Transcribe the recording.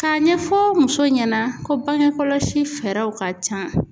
K'a ɲɛfɔ muso ɲɛna ko bange kɔlɔsi fɛɛrɛw ka can.